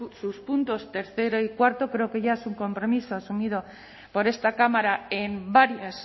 sus puntos tercero y cuarto creo que ya es un compromiso asumido por esta cámara en varias